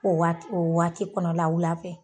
O waat o waati kɔnɔla wula fɛ